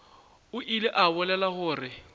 o ile a bolela gore